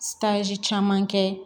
caman kɛ